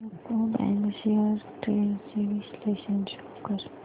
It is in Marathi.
यूको बँक शेअर्स ट्रेंड्स चे विश्लेषण शो कर